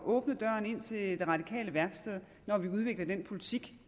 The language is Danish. at åbne døren ind til det radikale værksted når vi udvikler den politik